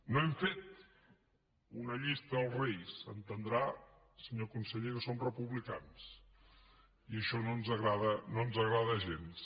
no hem fet una llista als reis entendrà senyor conseller que som republicans i això no ens agrada gens